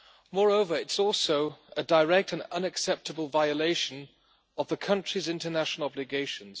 Moreover, it is also a direct and unacceptable violation of the country's international obligations.